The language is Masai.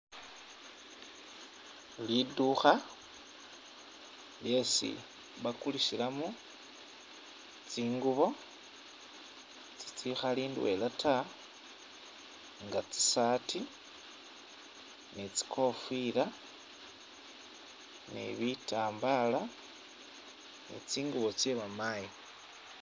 Lidukha lyesi bakulisilamo tsingubo tsikhali indwela taa nga tsi’sati ni tsikofila ni bitambala ni tsingubo tse bamayi.